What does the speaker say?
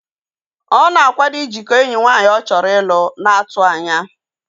Ọ na-akwado ijikọọ enyi nwaanyị ọ chọrọ ịlụ n'atụanya